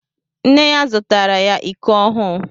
Nne ya zụtaara ya iko ọhụụ.